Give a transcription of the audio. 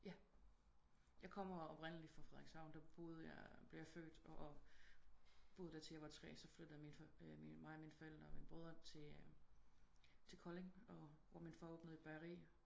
Ja jeg kommer oprindelig fra Frederikshavn der boede jeg blev jeg født og boede der til jeg var 3 så flyttede mig og mine forældre og mine brødre til Kolding og hvor min far åbnede et bageri